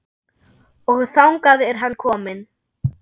Og þangað er hann kominn.